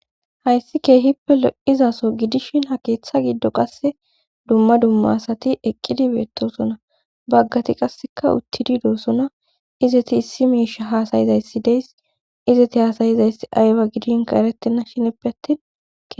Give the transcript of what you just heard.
hayssi kehippe lo7izaso gidishin ha keeththa giddo qasse dumma dumma asati eqqidi beettosona baggati qasseka uttididoosona izeti issi miisha haasayizayssi des izeti haasayizayss away gidinka erettenna shineppe attin